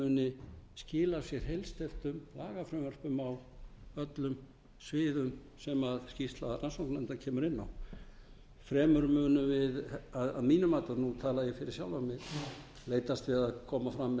muni skila af sér heilsteyptum lagafrumvörpum á öllum sviðum sem skýrsla rannsóknarnefndar kemur inn á fremur munum við að mínu mati nú tala ég fyrir sjálfan mig leitast við að koma fram með